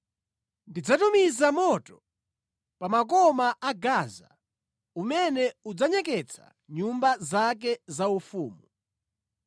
ndidzatumiza moto pa makoma a Gaza umene udzanyeketsa nyumba zake zaufumu.